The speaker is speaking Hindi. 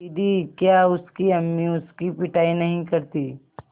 दीदी क्या उसकी अम्मी उसकी पिटाई नहीं करतीं